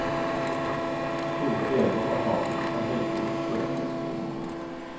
Store deler av havnen er heldigvis kjøretøyfri.